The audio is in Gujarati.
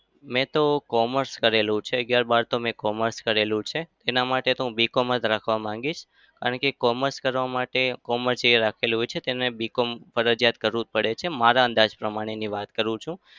મેં તો commerce કરેલું છે. અગિયાર-બાર તો મેં commerce કરેલું છે. એના માટે તો હું BCom જ રાખવા માંગીશ. કારણ કે commerce કરવા માટે તેને BCom ફરજીયાત કરવું જ પડે છે. મારા અંદાજ પ્રમાણેની વાત કરું છું.